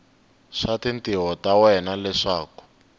swa tintiho ta wena leswaku